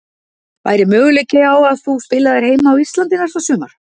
Væri möguleiki á að þú spilaðir heima á Íslandi næsta sumar?